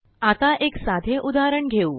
आता एक साधे उदाहरण घेऊ